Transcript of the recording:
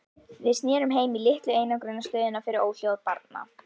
Við snerum heim- í litlu einangrunarstöðina fyrir óhljóð barna.